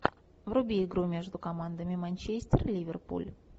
вруби игру между командами манчестер ливерпуль